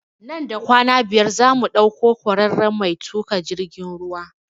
Nan da kwana biyar za mu ɗauko kwararen mai tuƙa jirgin ruwa